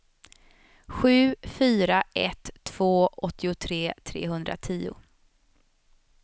sju fyra ett två åttiotre trehundratio